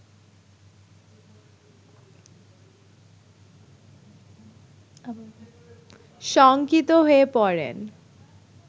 শঙ্কিত হয়ে পড়েন